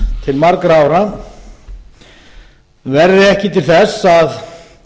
til margra ára verði ekki til þess að